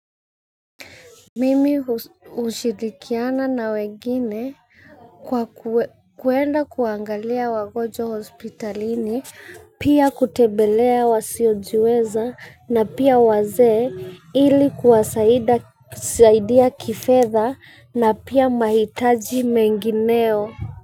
Mimi hushirikiana na wengini kwa kuenda kuangalia wagonjwa hospitalini. Pia kutembelea wasiojiweza na pia wazee ili kuwasaidia kifedha na pia mahitaji mengineo.